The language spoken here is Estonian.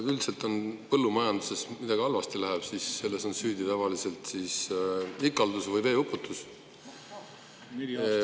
No üldiselt on nii, et kui põllumajanduses midagi halvasti läheb, siis on selles süüdi tavaliselt ikaldus või veeuputus.